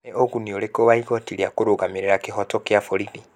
Nĩ ugunĩ ũrĩkũ wa igooti rĩa karũgamĩrira kĩhooto kia borithĩ?